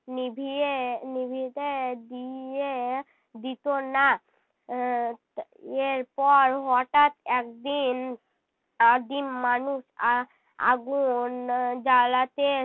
নিভিয়ে নিভিতে দিয়ে দিতো না আহ এর পর হঠাৎ একদিন আদিম মানুষ আ~ আগুন জ্বালাতে